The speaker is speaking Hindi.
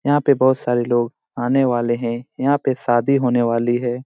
यहाँ पे बहुत सारे लोग आने वाले हैं यहाँ पे शादी होने वाली है।